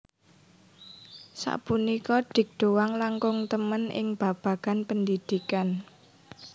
Sapunika Dik Doank langkung temen ing babagan pendidikan